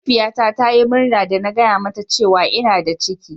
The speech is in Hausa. Mahaifiyata ta Yi murna da na gaya mata cewa ina da ciki.